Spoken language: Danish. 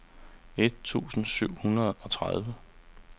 et tusind syv hundrede og tredive